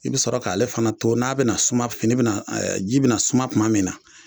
I bi sɔrɔ k'ale fana to n'a bina suman fini ji bina suman kuma min na